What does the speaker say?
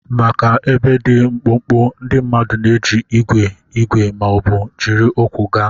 Maka ebe dị mkpụmkpụ, ndị mmadụ na-eji igwe igwe ma ọ bụ jiri ụkwụ gaa.